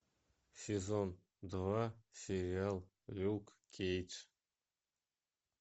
сезон два сериал люк кейдж